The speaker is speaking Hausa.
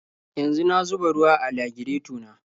Yanzu na zuba ruwa a lagireto na.